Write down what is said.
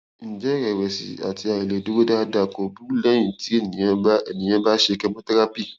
ǹjẹ iìrẹwẹsì àti àìlèdúró dáadáa kò burú lẹyìn tí ènìyàn bá ènìyàn bá ṣe chemotherapy